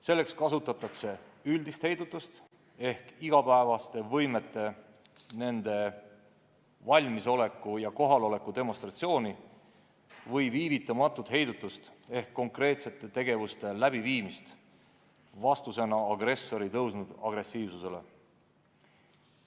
Selleks kasutatakse üldist heidutust ehk igapäevaste võimete valmisoleku ja kohaloleku demonstratsiooni või viivitamatut heidutust ehk konkreetsete tegevuste läbiviimist vastusena agressori kasvanud agressiivsusele.